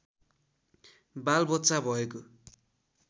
बालबच्चा भएको